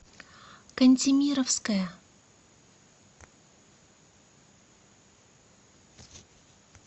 кантемировская